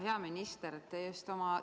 Hea minister!